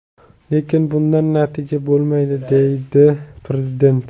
Lekin bundan natija bo‘lmaydi”, dedi Prezident.